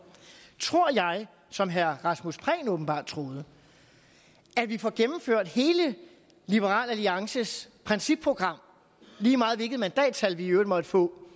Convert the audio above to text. tror jeg som herre rasmus prehn åbenbart troede at vi får gennemført hele liberal alliances principprogram lige meget hvilket mandatantal vi i øvrigt måtte få